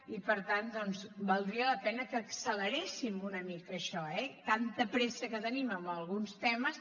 i per tant valdria la pena que acceleréssim una mica això eh tanta pressa que tenim en alguns temes